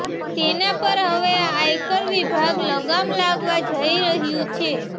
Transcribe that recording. તેના પર હવે આયકર વિભાગ લગામ લાગવા જઈ રહ્યું છે